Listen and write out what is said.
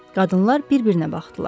Qadınlar bir-birinə baxdılar.